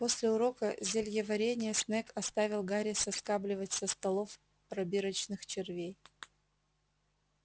после урока зельеварения снегг оставил гарри соскабливать со столов пробирочных червей